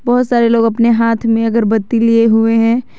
बहुत सारे लोग अपने हाथ में अगरबत्ती लिए हुए हैं।